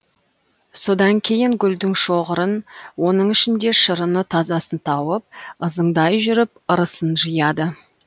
содан кейін гүлдің шоғырын оның ішінде шырыны тазасын тауып ызыңдай жүріп ырысын жияды